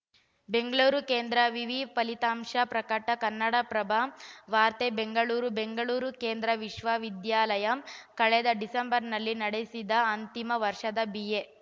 ಬೆಂಗಳೂರು ಕೇಂದ್ರ ವಿವಿ ಫಲಿತಾಂಶ ಪ್ರಕಟ ಕನ್ನಡಪ್ರಭ ವಾರ್ತೆ ಬೆಂಗಳೂರು ಬೆಂಗಳೂರು ಕೇಂದ್ರ ವಿಶ್ವವಿದ್ಯಾಲಯ ಕಳೆದ ಡಿಸೆಂಬರ್‌ನಲ್ಲಿ ನಡೆಸಿದ್ದ ಅಂತಿಮ ವರ್ಷದ ಬಿಎ